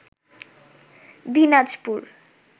Dinajpur